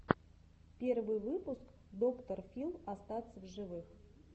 первый выпуск доктор фил остаться в живых